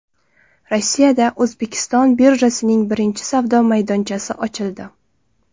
Rossiyada O‘zbekiston birjasining birinchi savdo maydonchasi ochildi.